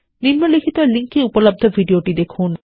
নিম্নলিখিত লিঙ্ক এ উপলব্ধ ভিডিওটিদেখুন